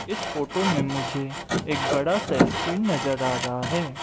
इस फोटो में मुझे एक बड़ा सा स्क्रीन नजर आ रहा है।